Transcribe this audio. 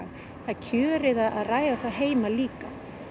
það er kjörið að ræða það heima líka